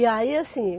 E aí, assim,